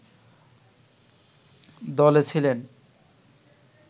দলে ছিলেন